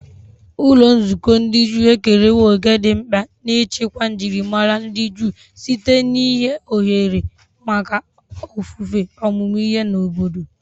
Ụlọ nzukọ ndị Juu ekerewo òkè dị mkpa n'ichekwa njirimara ndị Juu site n'inye ohere maka ofufe, ọmụmụ ihe, na obodo.